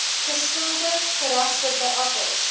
geskilde gerasperde appels